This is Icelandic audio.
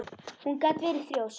Hún gat verið þrjósk.